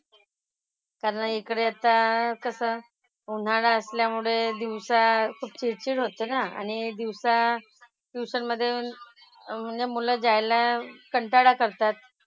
कारण इकडे आता कसं उन्हाळा असल्यामुळे दिवसा खूप चिडचिड होते ना. आणि दिवसा tuition मधे म्हणजे मुलं जायला कंटाळा करतात.